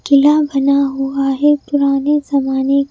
किला बना हुआ है पुराने जमाने--